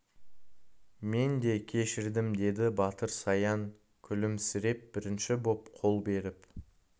мен де кешірдім деді батыр саян күлімсіреп бірінші боп қол беріп